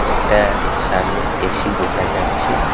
একটা সামনে এ_সি দেখা যাচ্ছে।